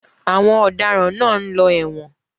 Àwọn ọ̀daràn náà ń lọ ẹ̀wọ̀n.